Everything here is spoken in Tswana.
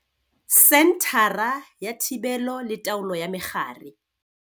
Senthara ya Thibelo le Taolo ya Megare.